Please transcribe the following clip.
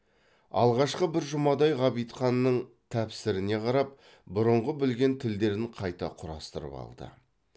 алғашқы бір жұмадай ғабитханның тәпсіріне қарап бұрынғы білген тілдерін қайта құрастырып алды